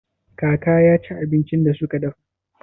Kaka ya ci abincin da suka dafa?